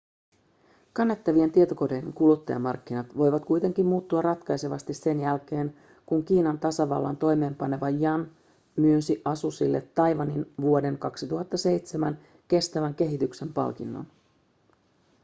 kannettavien tietokoneiden kuluttajamarkkinat voivat kuitenkin muuttua ratkaisevasti sen jälkeen kun kiinan tasavallan toimeenpaneva yuan myönsi asusille taiwanin vuoden 2007 kestävän kehityksen palkinnon